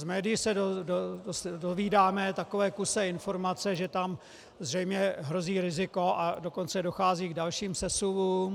Z médií se dovídáme takové kusé informace, že tam zřejmě hrozí riziko, a dokonce dochází k dalším sesuvům.